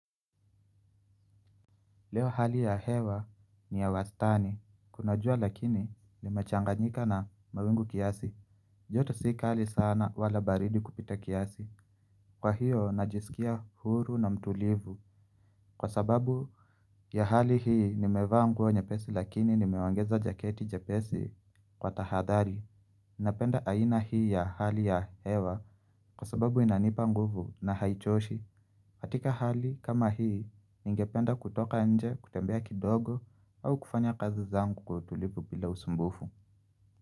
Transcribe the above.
Leo hali ya hewa ni ya wastani, kuna jua lakini nimechanganyika na mawingu kiasi, joto si kali sana wala baridi kupita kiasi. Kwa hiyo najisikia huru na mtulivu kwa sababu ya hali hii nimevaa nguo nyepesi lakini nimeongeza jaketi jepesi kwa tahadhari. Ninapenda aina hii ya hali ya hewa kwa sababu inanipa nguvu na haichoshi katika hali kama hii ningependa kutoka nje kutembea kidogo au kufanya kazi zangu kwa utulivu bila usumbufu.